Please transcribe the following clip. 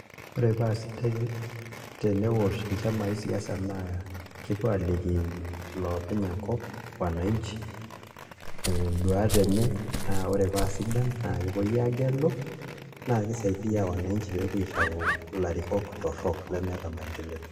Ore paa sidai teneosh nchamai siasa naa kepuo aaliki iloopeny enkop, wananchi ee nduat enye naa ore paa sidan naa kepuoi aagelu naa kisaidia wananchi pee epuo aitau ilarrikok torrok lemeeta maendeleo.